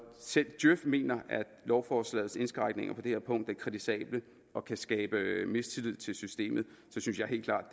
selv djøf mener at lovforslagets indskrænkninger på det her punkt er kritisable og kan skabe mistillid til systemet synes jeg helt klart